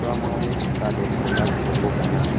uamangni saksade chola gipokko gana.